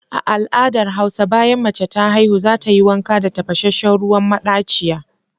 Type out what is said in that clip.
A al'adar hausa, bayan mace ta haihu za ta yi wanka da tafashenshen ruwan madachiya.